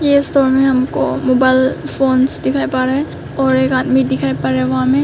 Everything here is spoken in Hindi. ये स्टोर में हमको मोबाइल फोन्स दिखाई पड़ रहा है और एक आदमी दिखाई पड़ रहा है वहां में।